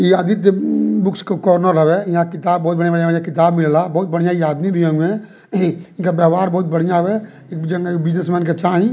इ आदित्य बुक्स के कार्नर हववे यहाँ किताब बहुत बढ़िया-बढ़िया किताब मिलेला बहुत बढ़िया ये आदमी भी होइहे इनका व्यवहार बहुत बढ़िया बाटे जो में बिजनेसमैन के चाहि।